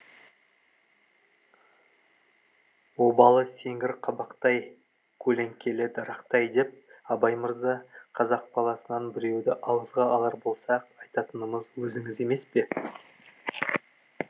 обалы сеңгір қабақтай көлеңкелі дарақтай деп абай мырза қазақ баласынан біреуді ауызға алар болса ақ айтатынымыз өзіңіз емес пе